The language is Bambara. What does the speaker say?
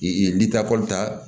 ni takɔli ta